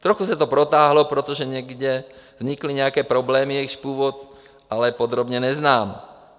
Trochu se to protáhlo, protože někde vznikly nějaké problémy, jejichž původ ale podrobně neznám.